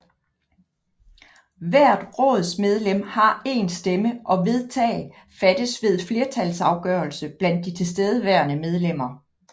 Hvert rådsmedlem har én stemme og vedtag fattes ved flertalsafgørelse blandt de tilstedeværende medlemmer